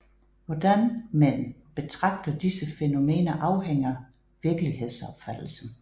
Hvordan men betragter disse fænomener afhænger virkelighedsopfattelsen